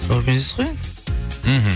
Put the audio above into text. сол бизнес қой енді мхм